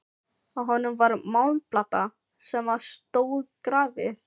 Á honum var málmplata sem á stóð grafið: